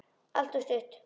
En alltof stutt.